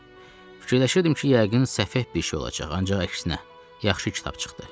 Fikirləşirdim ki, yəqin səfeh bir şey olacaq, ancaq əksinə, yaxşı kitab çıxdı.